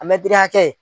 An bɛ diriya kɛ